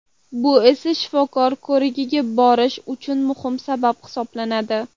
Bu esa shifokor ko‘rigiga borish uchun muhim sabab hisoblanadi.